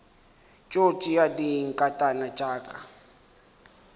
tšo tšea dinkatana tša ka